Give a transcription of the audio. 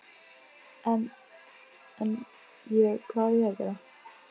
En, ég, hvað á ég að gera?